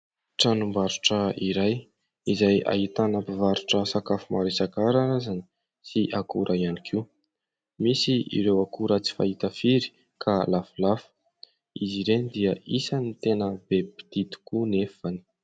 Tranombarotra iray izay ahitana mpivarotra maro isan-karazany ary akora ihany koa. Misy ireo akora tsy fahita firy ka lafolafo. Izy ireny dia isan'ny tena be mpitia tokoa nefa.